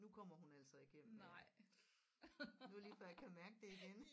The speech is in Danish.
Nu kommer hun altså ikke hjem mere nu er det lige før jeg kan mærke det igen